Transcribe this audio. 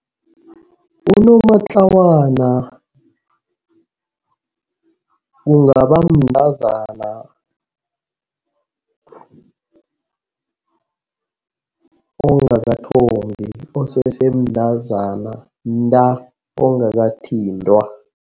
Unomatlawana kungaba mntazana ongakathombi osesemntazana nta ongakathintwa.